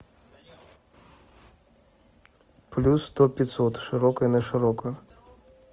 плюс сто пятьсот широкая на широкую